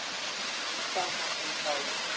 Hvað varð um þá?